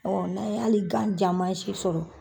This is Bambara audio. n'an ye hali gan ja mansi sɔrɔ